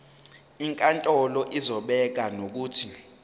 inkantolo izobeka nokuthi